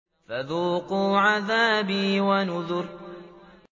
فَذُوقُوا عَذَابِي وَنُذُرِ